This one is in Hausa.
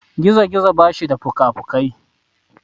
Gizo-gizo basu da fukafukai.